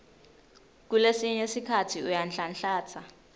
kulesinye sikhatsi uyanhlanhlatsa